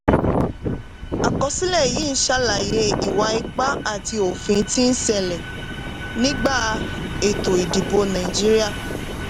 àkọsílẹ̀ yìí ń ṣàlàyé ìwà ipá àti òfin tí ń ṣẹlẹ̀ nígbà ètò ìdìbò nàìjíríà.